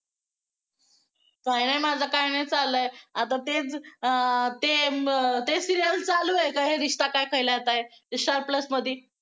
काय नाही माझं काय नाही चाललंय आता तेच ते अं ते serial चालू हाय काय ये रिश्ता क्या कहलाता है star plus मध्ये